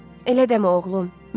Elə dəmi, oğlum?